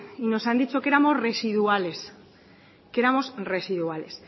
nos han dicho que éramos residuales